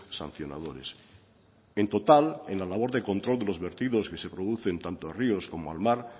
sancionadores en total en la labor de control de los vertidos que se producen tanto a ríos como al mar